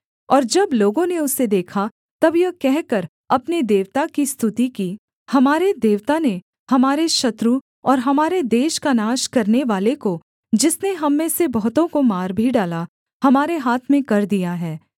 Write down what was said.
और जब लोगों ने उसे देखा तब यह कहकर अपने देवता की स्तुति की हमारे देवता ने हमारे शत्रु और हमारे देश का नाश करनेवाले को जिसने हम में से बहुतों को मार भी डाला हमारे हाथ में कर दिया है